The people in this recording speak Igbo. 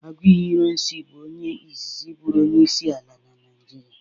Agụiyi Irọnsi bụ onye izizi bụrụ onyeisi ala na Naịjirịa.